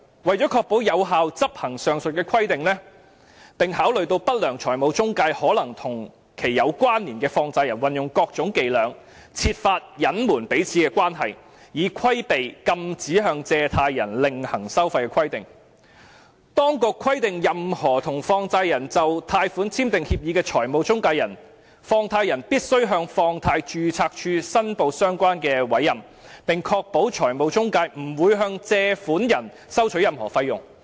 為了確保有效執行上述規定，並考慮到不良財務中介可能和其有關連的放債人運用各種伎倆，設法隱瞞彼此的關係，以規避禁止向借款人另行收費的規定，當局規定任何與放債人就貸款簽訂協議的財務中介人，放債人必須向放債人註冊處申報相關的委任，並確保財務中介不會向借款人收取任何費用。